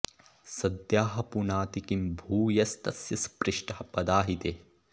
सद्यः पुनाति किं भूयस्तस्य स्पृष्टः पदा हि ते